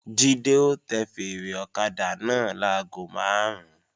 Jídé ó tẹ fèèrè ọ̀kadà náà láago máàrún